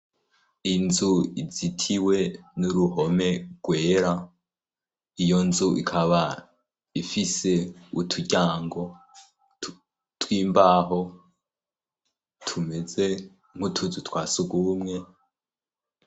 Inzu izitiwe n'uruhome rwera iyo nzu ikaba ifise uturyango tw'imbaho tumeze nk'utuzu twa sugumwe.